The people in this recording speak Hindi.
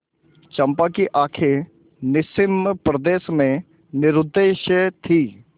चंपा की आँखें निस्सीम प्रदेश में निरुद्देश्य थीं